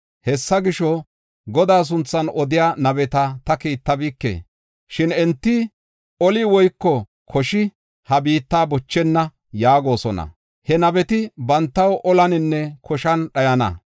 Hessa gisho, Godaa sunthan odiya nabeta ta kiittabike. Shin enti, ‘Oli woyko koshi ha biitta bochenna’ yaagosona. He nabeti bantaw olaninne koshan dhayana!